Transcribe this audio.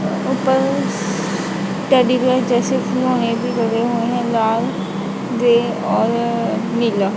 ऊपर teddy bear जैसे खिलौने भी लगे हुए हैं लाल ग्रे और नीला--